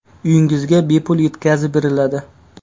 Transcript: Uyingizga bepul yetkazib beriladi!.